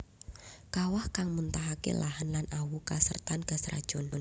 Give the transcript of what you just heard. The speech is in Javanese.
Kawah kang muntahake lahan lan awu kasertan gas racun